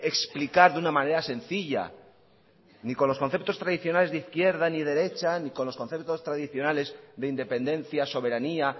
explicar de una manera sencilla ni con los conceptos tradicionales de izquierda ni derecha ni con los conceptos tradicionales de independencia soberanía